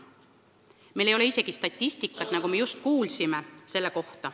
Meil ei ole selle kohta isegi statistikat, nagu me just kuulsime.